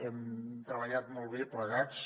hem treballat molt bé plegats